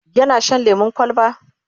yana Shan lemun kwalba?